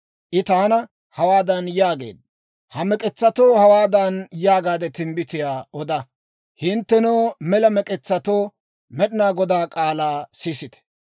I taana hawaadan yaageedda; «Ha mek'etsatoo hawaadan yaagaade timbbitiyaa oda; ‹Hinttenoo, mela mek'etsatoo Med'inaa Godaa k'aalaa sisite,